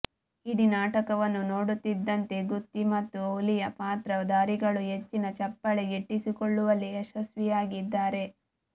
ಇಡೀ ನಾಟಕವನ್ನು ನೋಡುತ್ತಿದ್ದಂತೆ ಗುತ್ತಿ ಮತ್ತು ಹುಲಿಯಾ ಪಾತ್ರ ಧಾರಿಗಳು ಹೆಚ್ಚಿನ ಚಪ್ಪಾಳೆ ಗಿಟ್ಟಿಸಿಕೊಳ್ಳುವಲ್ಲಿ ಯಶಸ್ವಿಯಾಗಿದ್ದಾರೆ